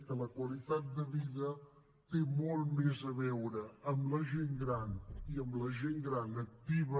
que la qualitat de vida té molt més a veure amb la gent gran i amb la gent gran activa